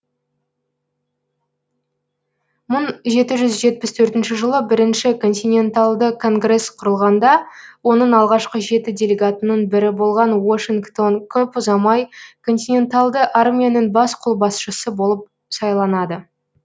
мың жеті жүз жетпіс төртінші жылы бірінші континенталды конгрес құрылғанда оның алғашқы жеті делегатының бірі болған уошингтон көп ұзамай континенталды армияның бас қолбасшысы болып сайланады